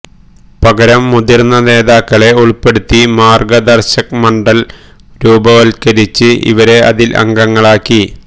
പകരം മുതിര്ന്ന നേതാക്കളെ ഉള്പ്പെടുത്തി മാര്ഗദര്ശക് മണ്ഡല് രൂപവത്കരിച്ച് ഇവരെ അതില് അംഗങ്ങളാക്കി